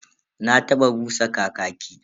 Na taba busa kakaki.